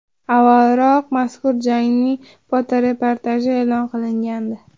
Avvalroq mazkur jangning fotoreportaji e’lon qilingandi .